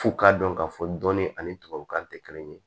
F'u k'a dɔn k'a fɔ dɔni ani tubabukan tɛ kelen ye